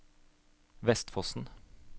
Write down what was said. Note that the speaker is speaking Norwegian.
Vestfossen